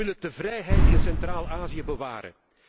Of wil het de vrijheid in Centraal Azië bewaren?